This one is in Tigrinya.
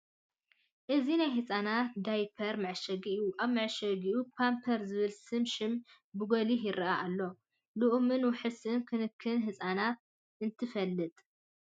እዚ ናይ ህጻናት ዳያፐር መዐሸጊ እዩ። ኣብቲ መዐሸጊ "Pampers" ዝብል ስም ሽም ብጐሊሑ ይርአ ኣሎ። ልኡምን ውሑስን ክንክን ህፃናት እንትፋለጥ።